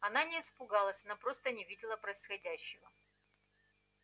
она не испугалась она просто не видела происходящего